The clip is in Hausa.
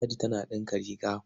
Ladi tana ɗinka riga.